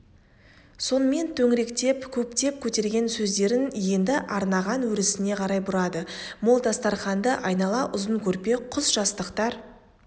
сонымен төңіректеп көптеп көтерген сөздерін енді арнаған өрісіне қарай бұрады мол дастарқанды айнала ұзын көрпе құсжастықтар